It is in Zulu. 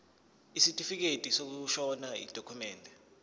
isitifikedi sokushona yidokhumende